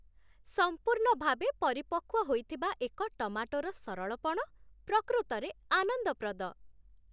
ସମ୍ପୂର୍ଣ୍ଣ ଭାବେ ପରିପକ୍ୱ ହୋଇଥିବା ଏକ ଟମାଟୋର ସରଳପଣ ପ୍ରକୃତରେ ଆନନ୍ଦପ୍ରଦ।